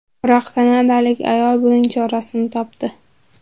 Biroq kanadalik ayol buning chorasini topdi .